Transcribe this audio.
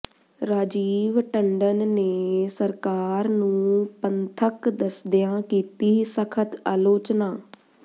ਰਾਜੀਵ ਟੰਡਨ ਨੇ ਸਰਕਾਰ ਨੂੰ ਪੰਥਕ ਦੱਸਦਿਆਂ ਕੀਤੀ ਸਖਤ ਆਲੋਚਨਾ